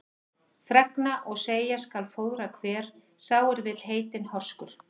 Fregna og segja skal fróðra hver, sá er vill heitinn horskur.